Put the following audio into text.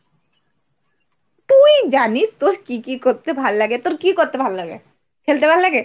তুই জানিস তোর কি কি করতে ভাল্লাগে? তোর কি করতে ভাল্লাগে? খেলতে ভাল্লাগে?